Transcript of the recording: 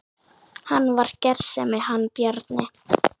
Hann var gersemi hann Bjarni.